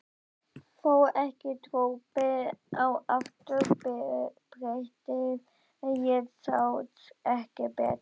Fór ekki dropi á afturbrettið. ég sá ekki betur!